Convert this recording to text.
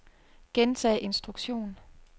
gentag instruktion